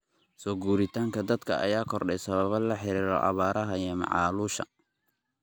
Soo guuritaanka dadka ayaa kordhay sababo la xiriira abaaraha iyo macaluusha.